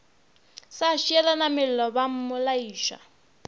sa tšeelana mello ba mmolaiša